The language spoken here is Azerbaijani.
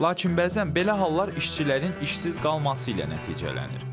Lakin bəzən belə hallar işçilərin işsiz qalması ilə nəticələnir.